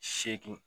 Seegin